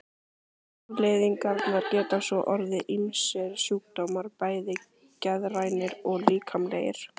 Afleiðingarnar geta svo orðið ýmsir sjúkdómar, bæði geðrænir og líkamlegir.